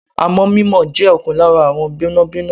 Amọ̀ mímọ jẹ́ ọ̀kan lára àwọn gbẹ́nàgbẹ́nà.